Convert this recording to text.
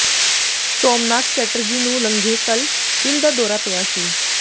ਸੋਮਨਾਥ ਚੈਟਰਜੀ ਨੂੰ ਲੰਘੇ ਕੱਲ੍ਹ ਦਿਲ ਦਾ ਦੌਰਾ ਪਿਆ ਸੀ